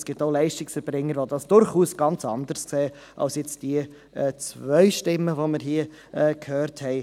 Es gibt auch Leistungserbringer, die dies durchaus ganz anders sehen als die zwei Stimmen, welche wir hörten.